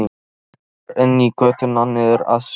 Kemur inn í götuna niður að sjónum.